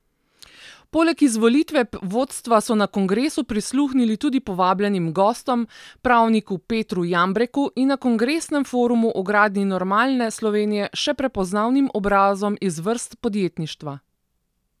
Poleg izvolitve vodstva so na kongresu prisluhnili tudi povabljenim gostom, pravniku Petru Jambreku in na kongresnem forumu o gradnji normalne Slovenije še prepoznavnim obrazom iz vrst podjetništva.